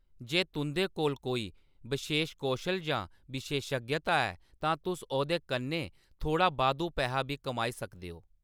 जे तुंʼदे कोल कोई बशेश कौशल जां विशेशज्ञता ऐ, तां तुस ओह्‌‌‌दे कन्नै थोह्‌ड़ा बाद्धू पैहा बी कमाई सकदे ओ।